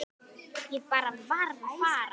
Ég bara varð að fara.